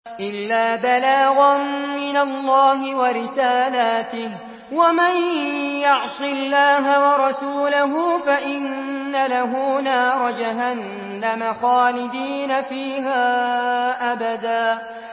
إِلَّا بَلَاغًا مِّنَ اللَّهِ وَرِسَالَاتِهِ ۚ وَمَن يَعْصِ اللَّهَ وَرَسُولَهُ فَإِنَّ لَهُ نَارَ جَهَنَّمَ خَالِدِينَ فِيهَا أَبَدًا